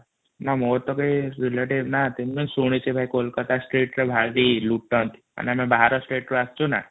ନା ମୋର ଟା କେହି ରେଲଟିବେ ନାହାନ୍ତି ମୁ କିନ୍ତୁ ଶୁଣିଛି ଭାଇ କୋଲକାତା ସ୍ଟେଟ ରେ ଭାରି ଲୁଟନ୍ତି ମାନେ ଆମେ ଭାର ସ୍ଟେଟ ରୁ ଆସୁଛୁ ନା